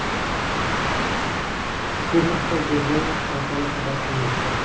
Bu haqda The Verge portali xabar qilmoqda .